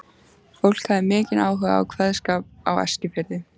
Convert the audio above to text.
Fólk hafði mikinn áhuga á kveðskap á Eskifirði.